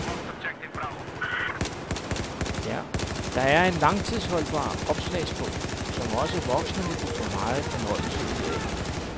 Der er en langtidsholdbar opslagsbog, som også voksne vil kunne få megen fornøjelse ud af.